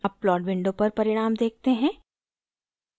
अब plot window पर परिणाम देखते हैं